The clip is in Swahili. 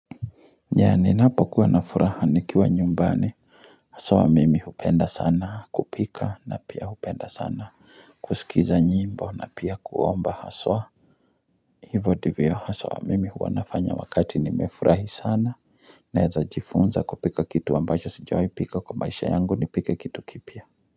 Yani ninapo kuwa na furaha nikiwa nyumbani Haswa wa mimi hupenda sana kupika na pia hupenda sana kusikiza nyimbo na pia kuomba haswa Hivo ndivyo haswa mimi huwa nafanya wakati nimefurahi sana Naeza jifunza kupika kitu wa amabacho sijawi pika kwa maisha yangu nipike kitu kipya.